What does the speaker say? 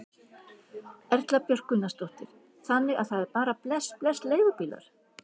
Erla Björg Gunnarsdóttir: Þannig að það er bara bless bless leigubílar?